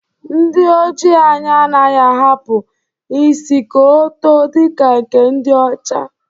Ndi Ojii anyi anaghị ahapụ isi ka o too dịka nke ndi ọcha